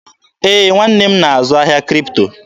Ee, nwanne m nwoke na-azụ ahịa Kripto.